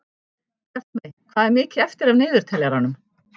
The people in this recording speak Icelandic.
Bjartmey, hvað er mikið eftir af niðurteljaranum?